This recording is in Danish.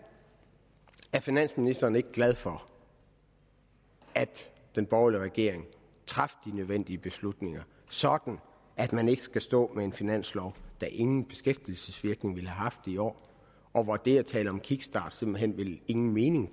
er finansministeren ikke glad for at den borgerlige regering traf de nødvendige beslutninger sådan at man ikke skal stå med en finanslov der ingen beskæftigelsesvirkning ville have haft i år og hvor det at tale om en kickstart simpelt hen ingen mening